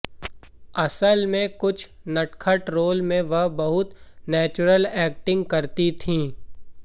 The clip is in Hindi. असल में कुछ नटखट रोल में वह बहुत नेचुरल एक्टिंग करती थी